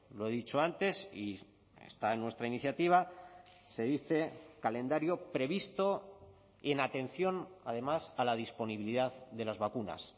lo he dicho antes y está en nuestra iniciativa se dice calendario previsto y en atención además a la disponibilidad de las vacunas